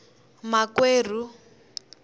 makwerhu